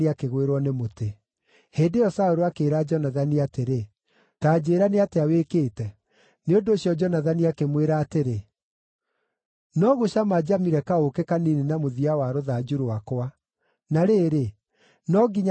Hĩndĩ ĩyo Saũlũ akĩĩra Jonathani atĩrĩ, “Ta njĩĩra nĩ atĩa wĩkĩte.” Nĩ ũndũ ũcio Jonathani akĩmwĩra atĩrĩ, “No gũcama njamire kaũũkĩ kanini na mũthia wa rũthanju rwakwa. Na rĩrĩ, no nginya niĩ ngue?”